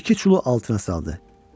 İki çulu altına saldı.